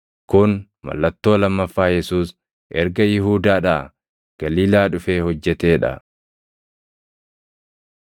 Kun mallattoo lammaffaa Yesuus erga Yihuudaadhaa Galiilaa dhufee hojjetee dha.